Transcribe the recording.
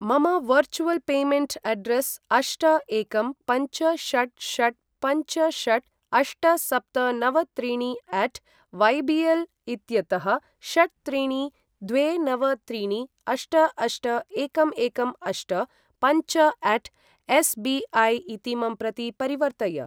मम virtual payment address अष्ट एकं पञ्च षट् षट् पञ्च षट् अष्ट सप्त नव त्रीणि अट वयबिएल इत्यतः षट् त्रीणि द्वे नव त्रीणि अष्ट अष्ट एकं एकं अष्ट पञ्च अट एसबिअय इतीमं प्रति परिवर्तय।